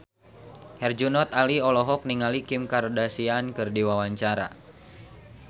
Herjunot Ali olohok ningali Kim Kardashian keur diwawancara